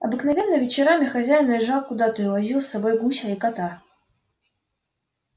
обыкновенно вечерами хозяин уезжал куда-то и увозил с собою гуся и кота